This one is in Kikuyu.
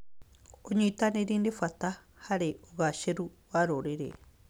ũnyitanĩri nĩ bat harĩ ũgacĩru wa rũrĩrĩ.